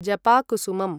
जपाकुसुमम्